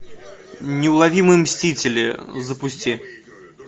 неуловимые мстители запусти